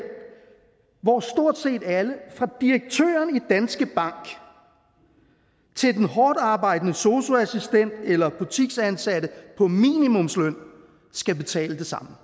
hvor stort set alle fra direktøren i danske bank til den hårdtarbejdende sosu assistent eller butiksansatte på minimumsløn skal betale det samme